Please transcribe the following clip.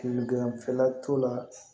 Kun ganfɛla t'o la